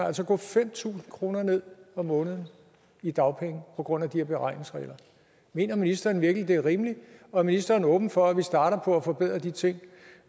altså gå fem tusind kroner ned om måneden i dagpenge på grund af de her beregningsregler mener ministeren virkelig det er rimeligt og er ministeren åben for at vi starter på at forbedre de ting